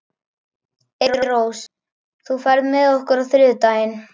Eyrós, ferð þú með okkur á þriðjudaginn?